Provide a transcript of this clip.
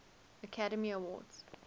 academy awards